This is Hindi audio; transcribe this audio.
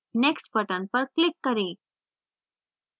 next button पर click करें